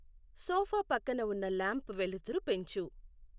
sofa పక్కన ఉన్న lamp వెలుతురు పెంచు